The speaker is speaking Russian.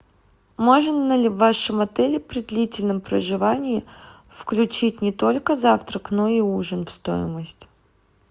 можно ли в вашем отеле при длительном проживании включить не только завтрак но и ужин в стоимость